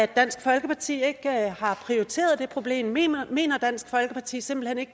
dansk folkeparti ikke har prioriteret det problem mener mener dansk folkeparti simpelt hen ikke